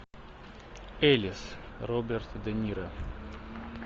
эллис роберт де ниро